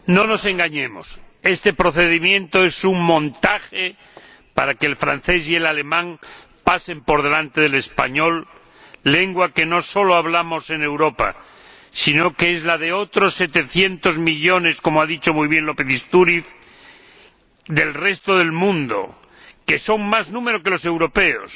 Señor Presidente, no nos engañemos. Este procedimiento es un montaje para que el francés y el alemán pasen por delante del español, lengua que no solo hablamos en Europa, sino que es la de otros 700 millones como ha dicho muy bien López Istúriz White del resto del mundo, que son más número que los europeos,